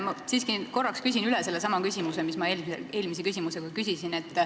Ma siiski korraks küsin üle sedasama, mida ma eelmise küsimusega küsisin.